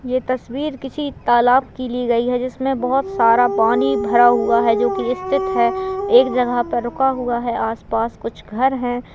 ये तस्वरी किसी तलाब की ली गई है जिस में बहोत सारा पानी भरा हुआ है जो की स्थित है एक जगह पर रुका हाआ है आस पास कुछ घर है।